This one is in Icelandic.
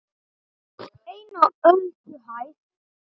EIN Á ÖLDUHÆÐ